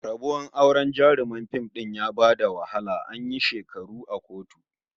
Rabuwar auren jaruman fim din ya ba da wahala, an yi shekaru a kotu